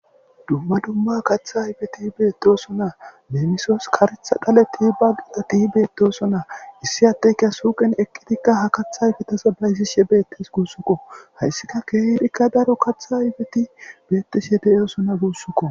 Dumma dumma kaththa ayfeti bettosona. Lemisos karetha dhaleti, baqelatibettosona issi addeyka suqen eqqidika ha kaththaayfetaza bayz9she bettes gussuko.hayssika kehidinne daro kaththa ayfeti de'osona gussako